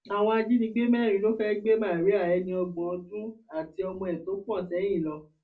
àwọn ajínigbé mẹrin ló fẹẹ gbé màríà ẹni ọgbọn ọdún àti ọmọ ẹ tó pọn sẹyìn lọ